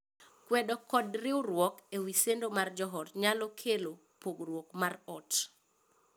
Kwedo kod riwruok e wii sendo mar joot nyalo kelo pogruok mar ot.